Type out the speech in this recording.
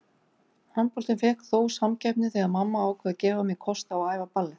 Handboltinn fékk þó samkeppni þegar mamma ákvað að gefa mér kost á að æfa ballett.